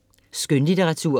Skønlitteratur